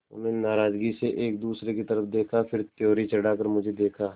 उन्होंने नाराज़गी से एक दूसरे की तरफ़ देखा फिर त्योरी चढ़ाकर मुझे देखा